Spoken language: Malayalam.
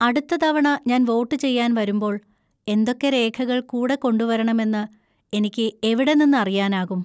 അടുത്ത തവണ ഞാൻ വോട്ട് ചെയ്യാൻ വരുമ്പോൾ എന്തൊക്കെ രേഖകൾ കൂടെ കൊണ്ടുവരണമെന്ന് എനിക്ക് എവിടെ നിന്ന് അറിയാനാകും?